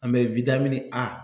An bɛ A